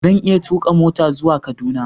Zan iya tuka mota zuwa Kaduna